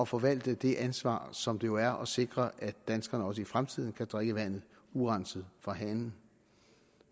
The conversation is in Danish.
forvalte det ansvar som det jo er at sikre at danskerne også i fremtiden kan drikke vandet urenset fra hanen